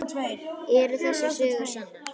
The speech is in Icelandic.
Eru þessar sögur sannar?